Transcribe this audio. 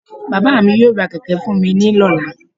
Baba mí yóò rá kẹkẹ fún mi ní lola